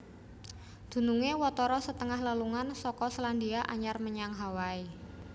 Dunungé watara setengah lelungan saka Selandia Anyar menyang Hawaii